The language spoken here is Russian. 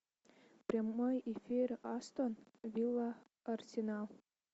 прямой эфир астон вилла арсенал